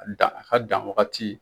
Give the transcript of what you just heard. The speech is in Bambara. dan a ka dan wagati.